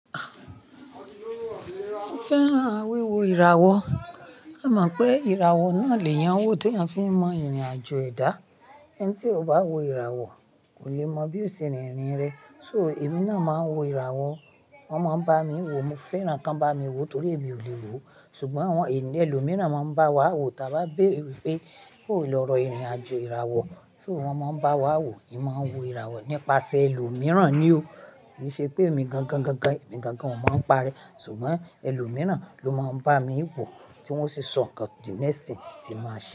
Mo fẹ́ràn wíwo ìràwọ̀. E mọ̀ pé ìràwọ̀ náà lè yàn n wò tí eeyan fi ń mọ ìrìnàjò ẹ̀dá. Ẹni tí o bá wo ìràwọ̀ kò le mọ bí ó ṣe rìn irìn rẹ. So èmi náà máa ń wo ìràwọ̀. Wọ́n máa ń bá mi wò. Mo fẹ́ràn kan bá mi wò torí èmi ò lè wò. Ṣùgbọ́n àwọn ènìyàn ẹlòmíràn máa ń bá wa wò tí a bá béèrè wpé bo ó lọrọ ìrìnàjò ìràwọ̀. So wọ́n máa ń bá wa wò. Èmi máa ń wo ìràwọ̀ nípasẹ̀ ẹlòmíràn ni o. Kì í ṣe pé èmi gangan, gangan, èmi gangan ò mo ń pa re. Ṣùgbọ́n ẹlòmíràn ló máa ń bá mi wò tí wọ́n o sì sọ nǹkan the next thing tí n màá ṣe.